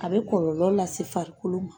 A bɛ kɔrɔlɔ lase farikolo ma.